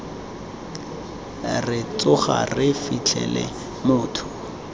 re tsoga re fitlhele motho